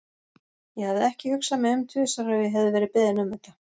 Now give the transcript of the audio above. Ég hefði ekki hugsað mig um tvisvar ef ég hefði verið beðin um þetta.